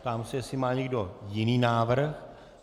Ptám se, jestli má někdo jiný návrh.